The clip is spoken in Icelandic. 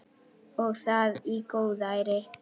Og það í góðæri!